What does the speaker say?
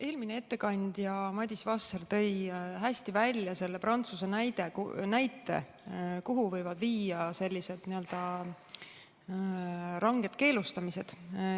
Eelmine ettekandja Madis Vasser tõi hästi välja Prantsuse näite, kuhu võivad viia sellised ranged keelustamised.